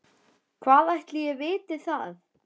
Hvað ætli ég viti það.